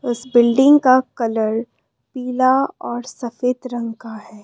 उस बिल्डिंग का कलर पीला और सफेद रंग का है।